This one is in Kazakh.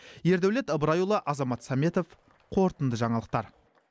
ердәулет ыбырайұлы азамат сәметов қорытынды жаңалықтар